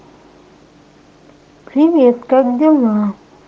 привет как дела